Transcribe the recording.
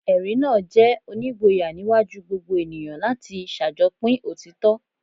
Ẹ̀rí náà jẹ́ onígboyà níwájú gbogbo ènìyàn láti ṣàjọpín òtítọ́. "